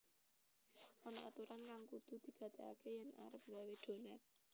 Ana aturan kang kudu digatégaké yèn arep nggawé donat